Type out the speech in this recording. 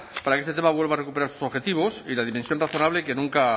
para que este tema vuelva a recuperar sus objetivos y la dimensión razonable que nunca